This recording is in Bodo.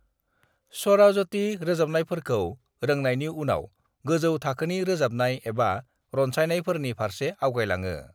स्वराजती रोजाबनायफोरखौ रोंनायनि उनाव गोजौ थाखोनि रोजाबनाय एबा रनसायनायफोरनि फारसे आवगायलाङो।